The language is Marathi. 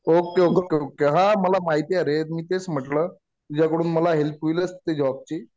Okay okay. हा. मला माहितीये रे. मी तेच म्हटलं. तुझ्या कडून मला हेल्प होईलच ते जॉबची.